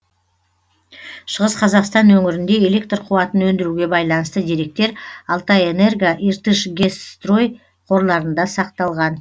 шығыс қазақстан өңірінде электр қуатын өндіруге байланысты деректер алтайэнерго иртышгэсстрой қорларында сақталған